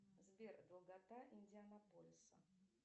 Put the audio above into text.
сбер долгота индианаполиса